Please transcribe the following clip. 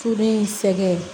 Furu in sɛgɛn